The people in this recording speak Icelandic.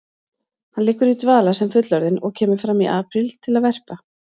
Hann liggur í dvala sem fullorðinn og kemur fram í apríl til að verpa.